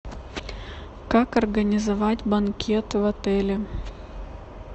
как организовать банкет в отеле